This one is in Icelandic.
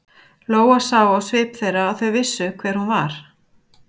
Lóa sá á svip þeirra að þau vissu hver hún var.